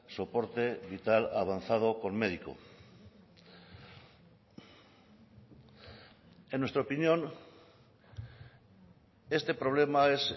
soporte vital avanzado con médico en nuestra opinión este problema es